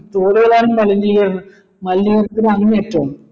തോടുകൾ ആണെങ്കി മലിനീകരണം മലനീകരത്തിന്റെ അങ്ങേ അറ്റമാണ്